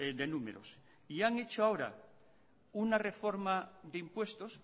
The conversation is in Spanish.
de números y han hecho ahora una reforma de impuestos